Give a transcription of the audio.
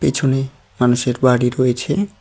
পিছনে মানুষের বাড়ি রয়েছে।